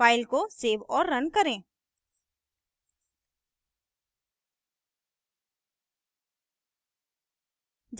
file को save और run करें